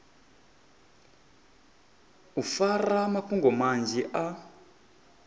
u fara mafhungo manzhi a